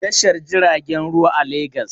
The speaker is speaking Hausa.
Akwai ma'aikata a Tashar jiragen ruwa a Legas.